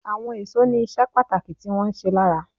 Àwọn èso ní iṣẹ́ pàtàkì tí wón ń ṣe lára.